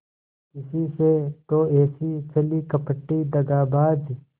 इसी से तो ऐसी छली कपटी दगाबाज